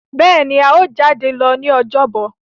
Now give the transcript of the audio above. béèni a yíò jade lọ ní Ọjọ́ Bọ̀.